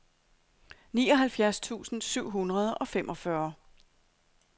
nioghalvfjerds tusind syv hundrede og femogfyrre